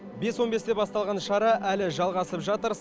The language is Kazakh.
бес он бесте басталған шара әлі жалғасып жатыр